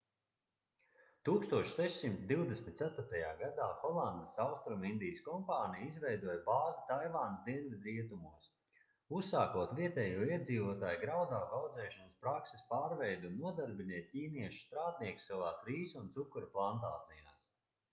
1624. gadā holandes austrumindijas kompānija izveidoja bāzi taivānas dienvidrietumos uzsākot vietējo iedzīvotāju graudaugu audzēšanas prakses pārveidi un nodarbinot ķīniešu strādniekus savās rīsu un cukura plantācijās